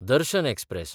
दर्शन एक्सप्रॅस